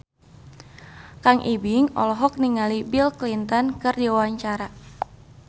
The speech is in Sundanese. Kang Ibing olohok ningali Bill Clinton keur diwawancara